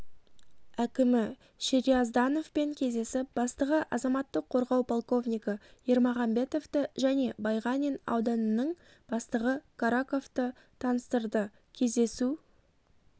әкімі шерияздановпен кездесіп бастығы азаматтық қорғау полковнигі ермагамбетовты және байғанин ауданының бастығы караковты таныстырды кездесу